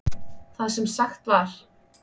Það sem sagt var